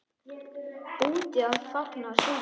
Úti að fagna sigri.